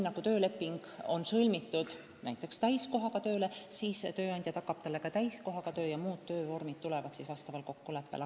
Kui tööleping on sõlmitud näiteks täiskohaga töö kohta, siis tööandja peab tagama täiskohaga töö ja muud töövormid on võimalikud kokkuleppe korral.